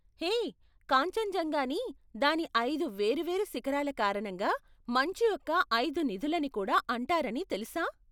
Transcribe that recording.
హే, కాంచన్జంగాని, దాని ఐదు వేరు వేరు శిఖరాల కారణంగా 'మంచు యొక్క ఐదు నిధు'లని కూడా అంటారని తెలుసా?